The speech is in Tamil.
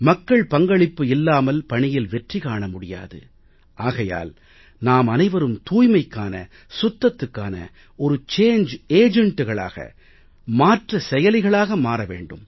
மக்கள் பங்களிப்பு இல்லாமல் பணியில் வெற்றி காண முடியாது ஆகையால் நாமனைவரும் தூய்மைக்கான சுத்தத்துக்கான ஒரு சாங்கே agentகளாக மாற்ற செயலிகளாக மாற வேண்டும்